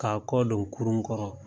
K'a kɔ don kurun kɔrɔ.